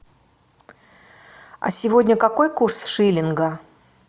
а сегодня какой курс шиллинга